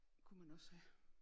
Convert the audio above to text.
Kunne man også have